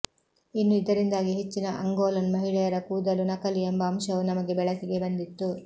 ಇನ್ನು ಇದರಿಂದಾಗಿ ಹೆಚ್ಚಿನ ಅಂಗೋಲನ್ ಮಹಿಳೆಯರ ಕೂದಲು ನಕಲಿ ಎಂಬ ಅಂಶವೂ ನಮಗೆ ಬೆಳಕಿಗೆ ಬಂದಿತ್ತು